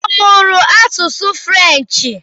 Ọ mụrụ asụsụ Frenchị?